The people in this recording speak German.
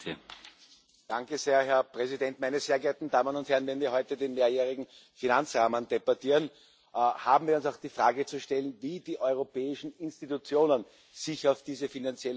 Herr Präsident, meine sehr geehrten Damen und Herren! Wenn wir heute den mehrjährigen Finanzrahmen debattieren, haben wir uns auch die Frage zu stellen, wie die europäischen Institutionen sich auf diese finanzielle Herausforderung einstellen.